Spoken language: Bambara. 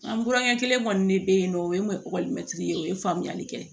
An burankɛ kelen kɔni ne be yen nɔ o ye n kun ye mɛtiri ye o ye faamuyali kɛ